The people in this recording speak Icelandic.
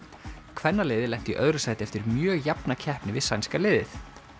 kvennaliðið lenti í öðru sæti eftir mjög jafna keppni við sænska liðið